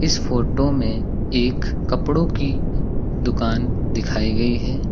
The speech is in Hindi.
इस फोटो में एक कपड़ों की दुकान दिखाई गई है।